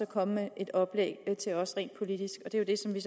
komme med et oplæg til os rent politisk og det er så det